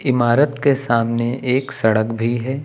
इमारत के सामने एक सड़क भी है।